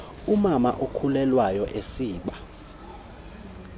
umama okhulelwayo esiba